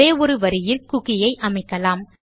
ஒரேஒரு வரியிலும் குக்கி ஐ அமைக்கலாம்